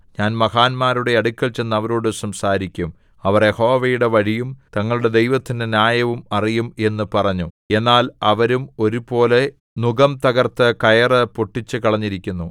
ഞാൻ മഹാന്മാരുടെ അടുക്കൽ ചെന്ന് അവരോടു സംസാരിക്കും അവർ യഹോവയുടെ വഴിയും തങ്ങളുടെ ദൈവത്തിന്റെ ന്യായവും അറിയും എന്നു പറഞ്ഞു എന്നാൽ അവരും ഒന്നുപോലെ നുകം തകർത്ത് കയറു പൊട്ടിച്ചുകളഞ്ഞിരിക്കുന്നു